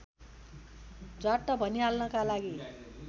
झ्वाट्ट भनिहाल्नका लागि